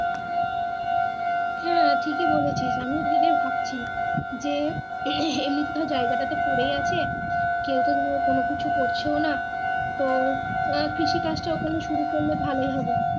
হ্যাঁ ঠিকই বলেছি আমিও সেটাই ভাবছি যে এমিটে তো জায়গা তা তো পড়ে আছে সেহেতু কোনো কিছু করছেও না তো আহ কৃষি কাজ তা ওখানে শুরু করলে ভালোই হবে।